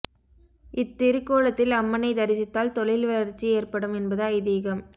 இத்திருக்கோலத்தில் அம்மனை தரிசித்தால் தொழில் வளர்ச்சி ஏற்படும் என்பது ஐதீகம்